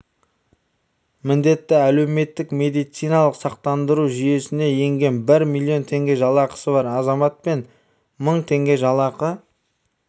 міндетті әлеуметтік медициналық сақтандыру жүйесіне енген бір миллион теңге жалақысы бар азамат пен мың теңге жалақы